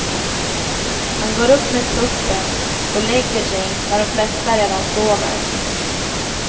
Han går upp med tuppen och lägger sig när de flesta redan sover.